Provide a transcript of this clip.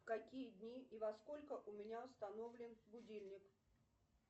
в какие дни и во сколько у меня установлен будильник